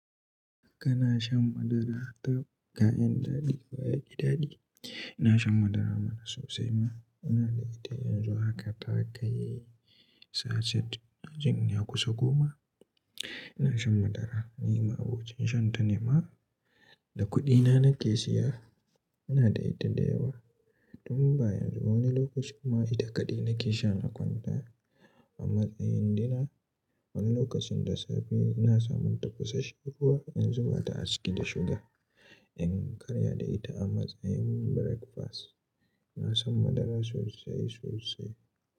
Kana shan madara da kayan daɗi da kayan iɗaɗi? Ina shan madara mana sosai ma. Inada ita yanzu haka, takai sachet, inajin ya kusa goma. Ina shan madara, ni ma abokin shan ta ne ma, da kuɗina nake siya. Ina da ita da yawa. Tun ba yanzu ba wani lokacin ma ita kaɗai nake sha na kwanta a matsayin dina. Wani lokacin da safe ina samun ta kusa shekuwa in zuba ta aciki da shuga in karya da ita a matsayin breakfast. Ina son madara sosai sosai.